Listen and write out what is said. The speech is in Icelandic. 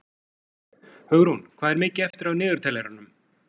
Hugrún, hvað er mikið eftir af niðurteljaranum?